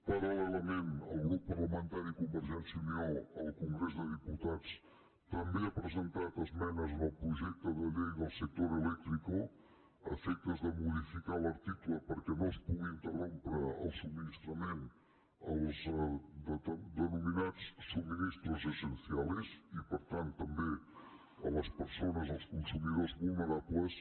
paral·lelament el grup parlamentari de convergència i unió al congrés dels diputats també ha presentat esmenes al projecte de llei del sector eléctricode modificar l’article perquè no es pugui interrompre el subministrament als denominats suministros esenciales i per tant també a les persones als consumidors vulnerables